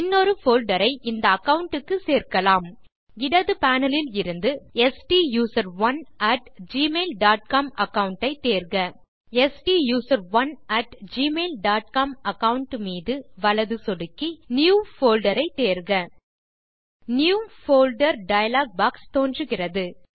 இன்னொரு போல்டர் ஐ இந்த அகாவுண்ட் க்கு சேர்க்கலாம் இடது பேனல் இலிருந்து stuserone at Gmail dot com account ஐ தேர்க stuserone at Gmail dot com account மீது வலதுசொடுக்கவும் நியூ போல்டர் ஐ தேர்க நியூ போல்டர் டயலாக் பாக்ஸ் தோன்றுகிறது